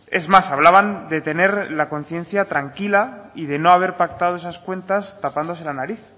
es más hablaban de tener la conciencia tranquila y de no haber pactado esas cuentas tapándose la nariz